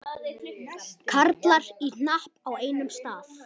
Karlar í hnapp á einum stað.